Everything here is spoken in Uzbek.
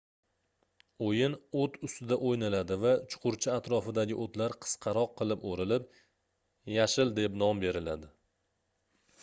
oʻyin oʻt ustida oʻynaladi va chuqurcha atrofidagi oʻtlar qisqaroq qilib oʻrilib yashil deb nom beriladi